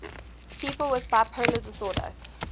people with bipolar disorder